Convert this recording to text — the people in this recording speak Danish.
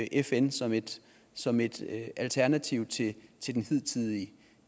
fn som et som et alternativ til til den hidtidige